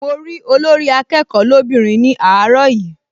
Mo rí Olórí-akẹ́kọ̀ọ́ lóbìnrin ní àárọ̀ yìí